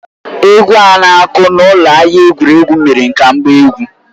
Egwu a na-aku n’ụlọ ahịa egwuregwu mere ka m gbaa egwu.